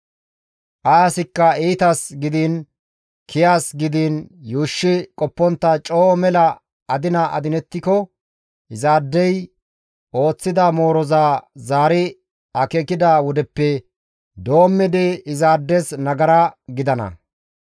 «Ay asikka iitas gidiin kiyas gidiin yuushshi qoppontta coo mela adina adinettiko izaadey ooththida mooroza zaari akeekida wodeppe doommidi izaades nagara gidana.